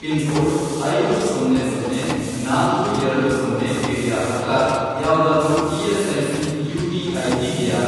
Pin code, ಐದು ಸೊನ್ನೆ ಸೊನ್ನೆ, ನಾಲ್ಕು ಎರಡು ಸೊನ್ನೆ, ಏರಿಯಾ ಹತ್ರ ಯಾವ್ದಾದ್ರೂ ಇ.ಎಸ್.ಐ.ಸಿ. ಯು.ಟಿ.ಐ. ಇದ್ಯಾ?